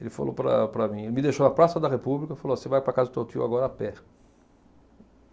Ele falou para para mim... Ele me deixou na Praça da República e falou você vai para a casa do teu tio agora a pé.